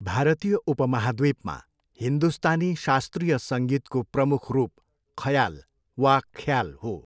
भारतीय उपमहाद्वीपमा हिन्दुस्तानी शास्त्रीय सङ्गीतको प्रमुख रूप खयाल वा ख्याल हो।